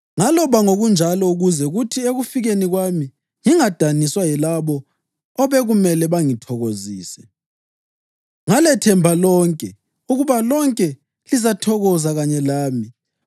Ngaloba ngokunjalo ukuze kuthi ekufikeni kwami ngingadaniswa yilabo obekumele bangithokozise. Ngalethemba lonke, ukuba lonke lizathokoza kanye lami.